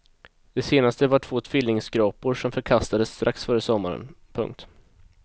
Det senaste var två tvillingskrapor som förkastades strax före sommaren. punkt